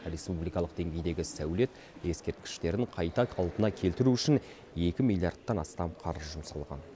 республикалық деңгейдегі сәулет ескерткіштерін қайта қалпына келтіру үшін екі миллиардтан астам қаржы жұмсалған